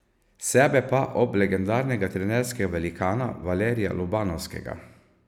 Sebe pa ob legendarnega trenerskega velikana Valerija Lobanovskega.